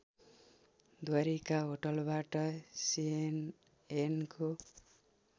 द्वारिका होटलबाट सिएनएनको